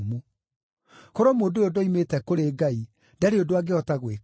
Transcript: Korwo mũndũ ũyũ ndoimĩte kũrĩ Ngai ndarĩ ũndũ angĩhota gwĩka.”